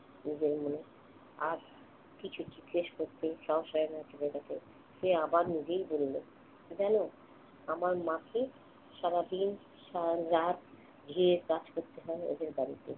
নিজের মনে। আর কিছু জিজ্ঞেস করতে সাহস হয় না ছেলেটাকে। সে আবার নিজেই বলল, জান আমার মাকে সারাদিন সারারাত ঝিঁয়ের কাজ করতে হয় ওদের বাড়িতে।